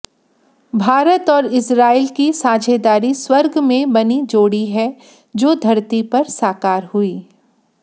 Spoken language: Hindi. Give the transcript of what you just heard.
भारत और इजराइल की साझेदारी स्वर्ग में बनी जोड़ी है जो धरती पर साकार हुई